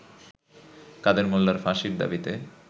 কাদের মোল্লার ফাঁসির দাবিতে